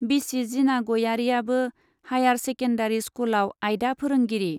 बिसि जिना गयारीयाबो हाइयार सेकेन्डारी स्कुलाव आयदा फोरोंगिरि।